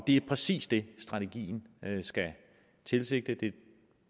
det er præcis det strategien skal tilsigte det er